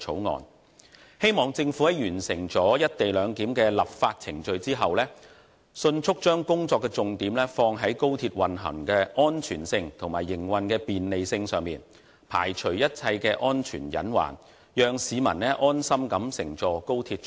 我希望政府在完成"一地兩檢"的立法程序後，迅速把工作重點放在高鐵運行的安全性和營運的便利性上，排除一切安全隱患，讓市民安心乘坐高鐵出行。